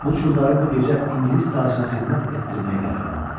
Bu çulları bu gecə ingilis tacına xidmət etdirməyi qərara aldı.